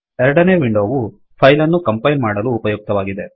ಎರಡನೇ ವಿಂಡೋವು ಫೈಲನ್ನು ಕಂಪೈಲ್ ಮಾಡಲು ಉಪಯುಕ್ತವಾಗಿದೆ